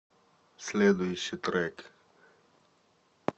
следующий трек